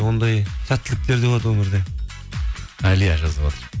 ондай сәттіліктер де болады өмірде әлия жазып отыр